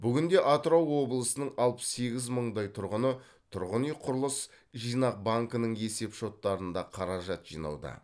бүгінде атырау облысының алпыс сегіз мыңдай тұрғыны тұрғын үй құрылыс жинақ банкінің есеп шоттарында қаражат жинауда